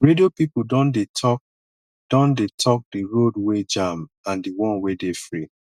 radio pipo don dey tok don dey tok di road wey jam and di one wey dey free